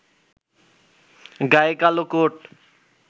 গায়ে কালো কোট